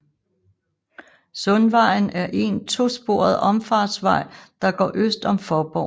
Sundvejen er en to sporet omfartsvej der går øst om Faaborg